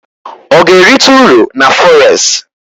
Ọ ga-erite uru na fọres?